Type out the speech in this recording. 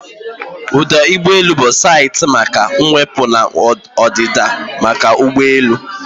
Ọdụ ụgbọ elu bụ saịtị maka iwepụ na ọdịda nke ụgbọelu